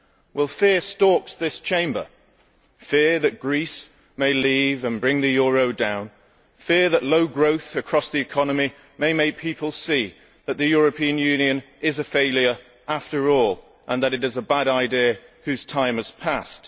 Well, fear stalks this Chamber fear that Greece may leave and bring the euro down, and fear that low growth across the economy may make people see that the European Union is a failure after all and that it is a bad idea whose time has passed.